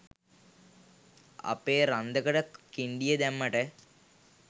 අපේ රන්කඳට කින්ඩිය දැම්මට.